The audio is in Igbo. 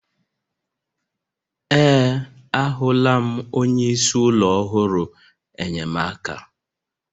Ee, ahụla m onye isi ụlọ ọrụ enyemaka.